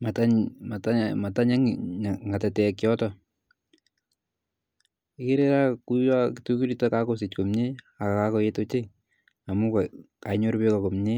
missing manyii ng'atatek yotok ko ikere kakoechekitun akosich komye amun kanyor beek komye.